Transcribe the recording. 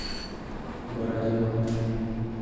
бородино